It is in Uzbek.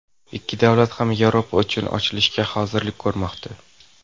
Ikki davlat ham Yevropa uchun ochilishga hozirlik ko‘rmoqda.